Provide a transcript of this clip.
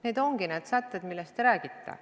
Need ongi need sätted, millest te räägite.